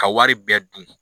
Ka wari bɛɛ dun